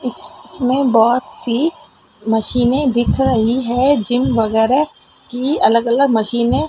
इस इसमें बहोंत सी मशीनें दिख रही हैं जिम वगैरह कि अलग अलग मशीनें --